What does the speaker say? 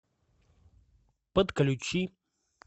подключи